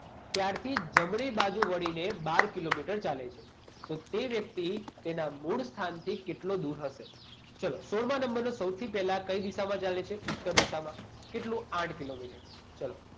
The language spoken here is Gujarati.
ત્યારથી જમણી બાજુ વળીને બાર કિલોમીટર ચાલે છે. તો તે વ્યક્તિ તેના મૂળ સ્થાનથી કેટલો દૂર હશે? ચાલો. સોળમાં નંબરનો સૌથી પહેલા કઈ દિશામાં ચાલે છે? ઉત્તર દિશામાં. કેટલું? આઠ કિલોમીટર. ચાલો